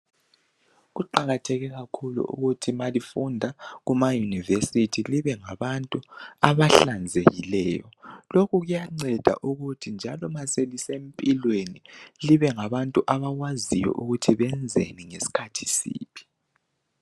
Kuqakathekile kakhulu ukuthi ma lifunda kuma university libe ngabantu abahlanzekileyo lokhu kuyanceda ukuthi njalo nxa selisempilweni libe ngabantu abakwaziyo ukuthi benzeni ngesikhathi siphi.